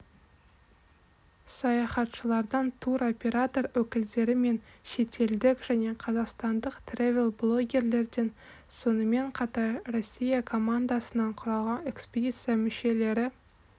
саяхатшылардан туроператор өкілдері мен шетелдік және қазақстандық тревел-блогерлерден сонымепн қатар россия командасынан құралған экспедиция мүшелері